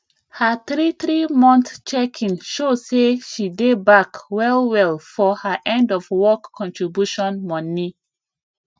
her three three month checking show say she dey back well well for her end of work contribution money